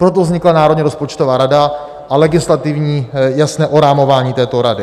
Proto vznikla Národní rozpočtová rada a legislativní jasné orámování této rady.